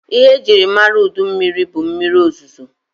Ihe e jiri mara udu mmịrị bụ mmịrị ozozo.